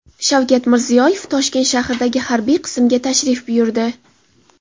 Shavkat Mirziyoyev Toshkent shahridagi harbiy qismga tashrif buyurdi.